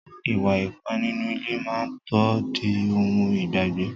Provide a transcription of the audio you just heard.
Ìwà ipá nínú ilé má tó di ohun ìgbàgbé.